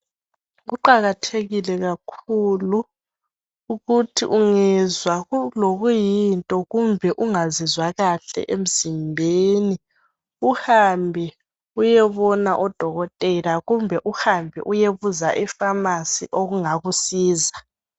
Kuqakathekile kakhulu ukuthi ungezwa kulokuyinto kumbe ungazizwa kahle emzimbeni uhambe uyebona odokotela kumbe uhambe uyebuza e pharmacy okungakusiza